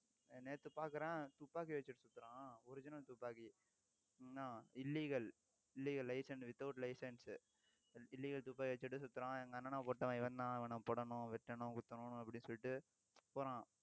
நேத்து பார்க்கிறேன் துப்பாக்கி வச்சிட்டு சுத்தறான் original துப்பாக்கி என்ன illegal illegal license without license, illegal துப்பாக்கி வச்சிட்டு சுத்தறான் எங்க அண்ணனை போட்டவன் இவன்தான் இவனை போடணும், வெட்டணும், குத்தணும், அப்படின்னு சொல்லிட்டு போறான்